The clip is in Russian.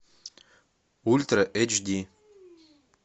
ультра эйч ди